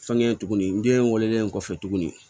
Fɛnkɛ tuguni n den wololen kɔfɛ tuguni